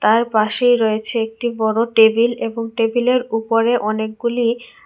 তার পাশেই রয়েছে একটি বড়ো টেবিল এবং টেবিলের উপরে অনেকগুলি--